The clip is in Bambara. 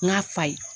N k'a fa ye